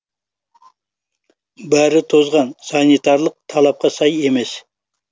бәрі тозған санитарлық талапқа сай емес